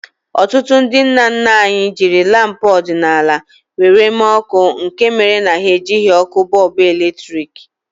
Ọtụtụ ndị nna nna anyị jiri lampu ọdịnala were mee ọkụ nke mere na ha ejighi ọkụ bọlbụ eletrik